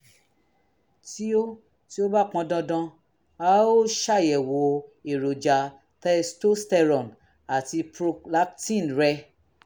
tí ó tí ó bá pọn dandan a ó ṣàyẹ̀wò èròjà testosterone àti prolactin rẹ